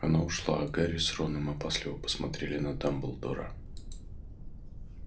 она ушла а гарри с роном опасливо посмотрели на дамблдора